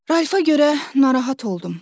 Ralfa görə narahat oldum.